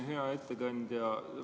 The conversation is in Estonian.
Hea ettekandja!